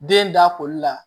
Den da koli la